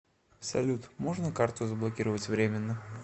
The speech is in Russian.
салют можно карту заблокировать временно